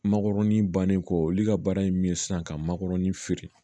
Makɔrɔni bannen kɔ olu ka baara ye min ye sisan ka makɔrɔni feere